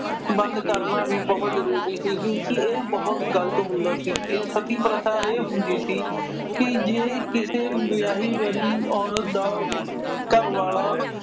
ਬੰਦ ਕਰਨਾ ਵੀ ਬਹੁਤ ਜ਼ਰੂਰੀ ਸੀ ਕਿਉਂ ਕਿ ਇਹ ਬਹੁਤ ਗਲਤ ਹੁੰਦਾ ਸੀ। ਸਤੀ ਪ੍ਰਥਾ ਇਹ ਹੁੰਦੀ ਸੀ ਕਿ ਜਿਵੇਂ ਕਿਸੇ ਵਿਆਹ-ਵਰੀ ਔਰਤ ਦਾ ਘਰਵਾਲਾ